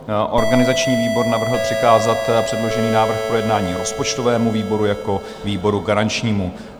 Organizační výbor navrhl přikázat předložený návrh k projednání rozpočtovému výboru jako výboru garančnímu.